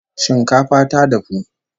Shinkafa ta dafu!